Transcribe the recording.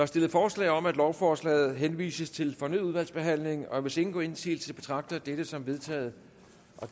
stillet forslag om at lovforslaget henvises til fornyet udvalgsbehandling og hvis ingen gør indsigelse betragter jeg dette som vedtaget